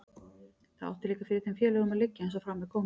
Það átti líka fyrir þeim félögunum að liggja, eins og fram er komið.